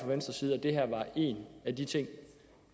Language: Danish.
venstres side at det her var en af de ting